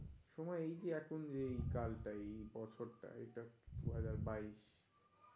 সময় এই যে এখন এই কাজডাই বছরটা এটা দুহাজার-বাইস.